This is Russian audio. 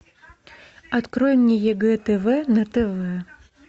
открой мне егэ тв на тв